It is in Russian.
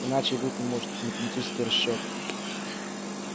иначе и быть не может тут математический расчёт